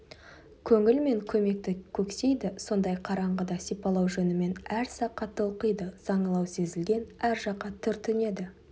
көңіл мен көмекті көксейді сондай қараңғыда сипалау жөнімен әр саққа толқиды саңылау сезілген әр жаққа түртінеді